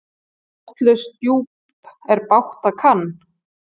Botnlaust djúp er bágt að kann.